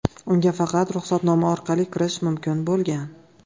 Unga faqat ruxsatnoma orqali kirish mumkin bo‘lgan.